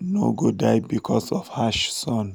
um no go die because of harsh sun.